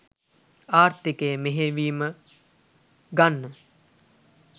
ආර්ථිකය මෙහෙයවීම ගන්න